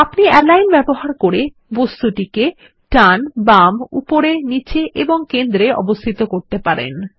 আমরা অ্যালিগন ব্যবহার করে টুলবারে বস্তুটিকে বাম ডান উপরে নীচে এবং কেন্দ্র এ অবস্থিত করতে পারেন